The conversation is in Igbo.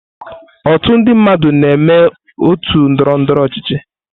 Otu ndị mmadụ na-eme otu ndọrọ ndọrọ ọchịchị.